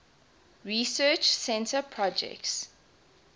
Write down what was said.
research center projects